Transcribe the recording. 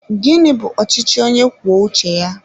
Gịnị bụ ọchịchị onye kwuo uche ya?